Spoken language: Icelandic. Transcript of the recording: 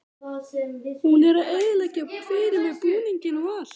Hún er að eyðileggja fyrir mér búninginn og allt.